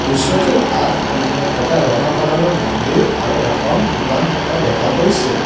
দৃশ্যটিৰ আগপিনে এটা ৰঙা কালাৰৰ মন্দিৰ আৰু এখন দোকান থকা দেখা গৈছে।